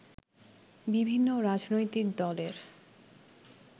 বিভিন্ন রাজনৈতিক দলের